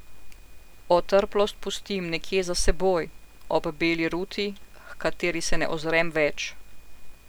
Otrplost pustim nekje za seboj, ob beli ruti, h kateri se ne ozrem več.